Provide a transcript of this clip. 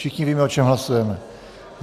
Všichni víme, o čem hlasujeme.